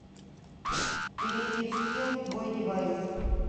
перейди в скилл твойдевайс